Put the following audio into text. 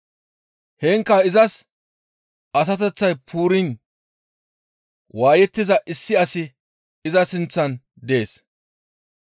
Heenkka izas asateththay puuriin waayettiza issi asi iza sinththan dees.